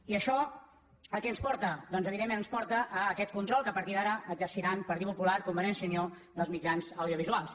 i això a què ens porta doncs evidentment ens porta a aquest control que a partir d’ara exerciran partit popular i convergència i unió dels mitjans audiovisuals